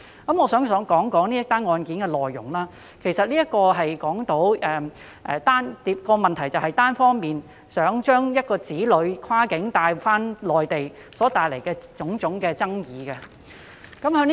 我想談談這宗案件的內容，其實這宗個案涉及當事人單方面欲將子女跨境帶往中國內地所帶來的種種爭議。